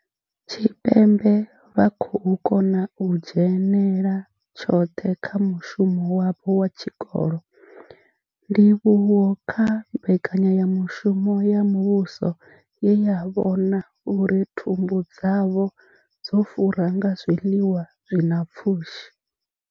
Tshipembe vha khou kona u dzhenela tshoṱhe kha mushumo wavho wa tshikolo, ndivhuwo kha mbekanyamushumo ya muvhuso ye ya vhona uri thumbu dzavho dzo fura nga zwiḽiwa zwi na pfushi.